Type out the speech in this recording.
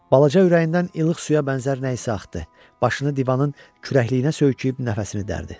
Balaca ürəyindən ilıq suya bənzər nə isə axdı, başını divanın kürəkliyinə söykəyib nəfəsini dərdi.